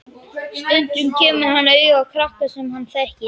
Stundum kemur hann auga á krakka sem hann þekkir.